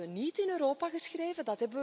Dat hebben we niet in Europa geschreven.